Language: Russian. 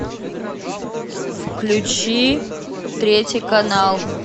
включи третий канал